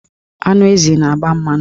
Anụ ezi na-agba mmanụ.